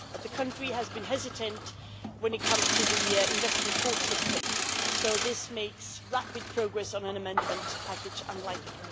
But the country has been hesitant when it comes to the investment quota system, so this makes rapid progress on an amendment package unlikely.